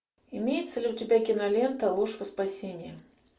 имеется ли у тебя кинолента ложь во спасение